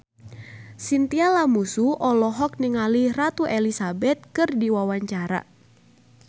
Chintya Lamusu olohok ningali Ratu Elizabeth keur diwawancara